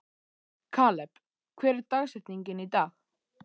Kaleb, hver er dagsetningin í dag?